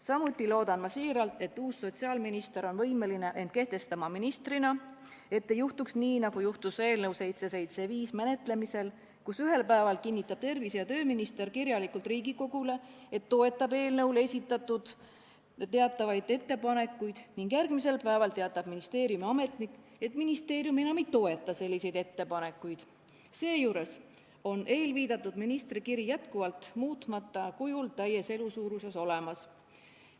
Samuti loodan ma siiralt, et uus sotsiaalminister on võimeline end ministrina kehtestama, et ei juhtuks nii, nagu juhtus eelnõu 775 menetlemisel, kui ühel päeval kinnitas tervise- ja tööminister kirjalikult Riigikogule, et toetab eelnõu kohta esitatud teatavaid ettepanekuid, ning järgmisel päeval teatas ministeeriumiametnik, et ministeerium enam ei toeta selliseid ettepanekuid, seejuures oli eelviidatud ministri kiri muutma kujul täies elusuuruses olemas.